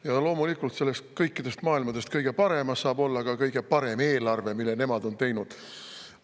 Ja loomulikult, selles kõikidest maailmadest kõige paremas saab olla ka kõige parem eelarve, mille nemad on teinud.